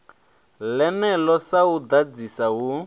ḽeneḽo sa u ḓadzisa hu